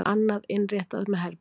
Annað innréttað með herbergjum.